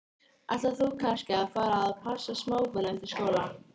Ætlar þú kannski að fara að passa smábörn eftir skóla?